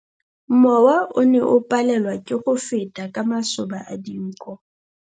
Mowa o ne o palelwa ke go feta ka masoba a dinko.